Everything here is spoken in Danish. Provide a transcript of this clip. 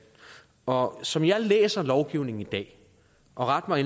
og som jeg læser lovgivningen i dag og ret mig